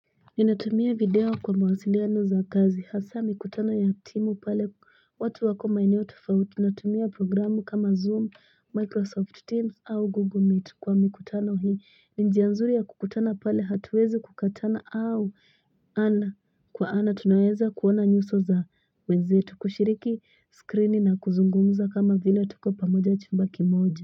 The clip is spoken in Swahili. Ni natumia video kwa mwasiliya nuzakazi hasa mikutana ya timu pale watu wakomae niotu fawuti Natumia programu kama Zoom, Microsoft Teams au Google Meet kwa mikutano hi Ninjia nzuri ya kukutana pale hatuwezu kukatana au kwa ana Tunaweza kuona nyuso za weze tukushiriki, screeni na kuzungumuza kama vila tuko pamoja chumbaki moji.